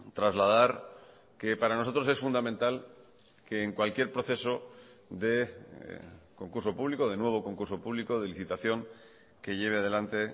trasladar que para nosotros es fundamental que en cualquier proceso de concurso público de nuevo concurso público de licitación que lleve adelante